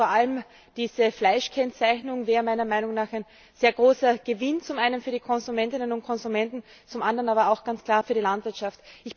Vor allem die Fleischkennzeichnung wäre meiner Meinung nach ein sehr großer Gewinn, zum einen für die Konsumentinnen und Konsumenten, zum anderen aber auch ganz klar für die Landwirtschaft.